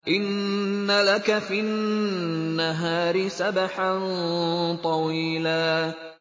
إِنَّ لَكَ فِي النَّهَارِ سَبْحًا طَوِيلًا